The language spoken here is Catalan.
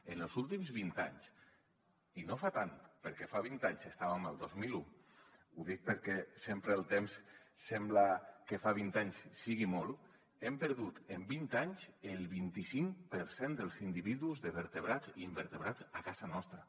en els últims vint anys i no fa tant perquè fa vint anys estàvem al dos mil un ho dic perquè sempre el temps sembla que fa vint anys sigui molt hem perdut en vint anys el vint cinc per cent dels individus vertebrats i invertebrats a casa nostra